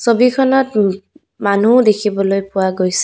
ছবিখনত মানুহও দেখিবলৈ পোৱা গৈছে।